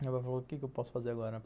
Meu pai falou, o que eu posso fazer agora?